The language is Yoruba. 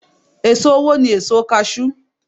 È̀so owó ni èso kaṣú.